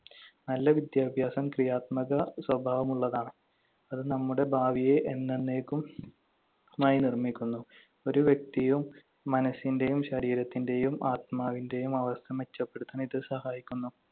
നല്ല വിദ്യാഭ്യാസം ക്രിയാത്മക സ്വഭാവമുള്ളതാണ്. അത് നമ്മുടെ ഭാവിയെ എന്നന്നേക്കും മായി നിർമ്മിക്കുന്നു. ഒരു വ്യക്തിയും മനസ്സിന്‍റെയും ശരീരത്തിന്‍റെയും ആത്മാവിന്‍റെയും അവസ്ഥ മെച്ചപ്പെടുത്താൻ ഇത് സഹായിക്കുന്നു.